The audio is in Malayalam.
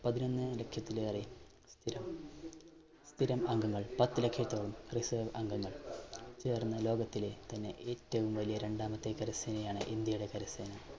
പതിനൊന്ന് ലക്ഷത്തിലേറെ സ്ഥിരം, സ്ഥിരം അംഗങ്ങൾ പത്ത് ലക്ഷത്തോളം Reserved അംഗങ്ങൾ ചേർന്ന ലോകത്തിലെ തന്നെ ഏറ്റവും വലിയ രണ്ടാമത്തെ കരസേനയാണ് ഇന്ത്യയുടെ കരസേന.